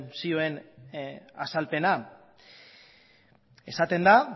zioen azalpena esaten da